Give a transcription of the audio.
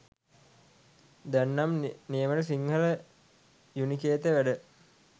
දැන් නම් නියමෙට සිංහල යුනිකේතය වැඩ